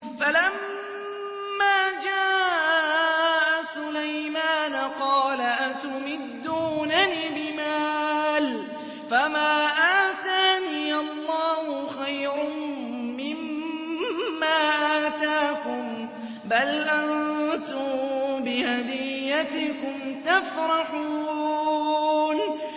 فَلَمَّا جَاءَ سُلَيْمَانَ قَالَ أَتُمِدُّونَنِ بِمَالٍ فَمَا آتَانِيَ اللَّهُ خَيْرٌ مِّمَّا آتَاكُم بَلْ أَنتُم بِهَدِيَّتِكُمْ تَفْرَحُونَ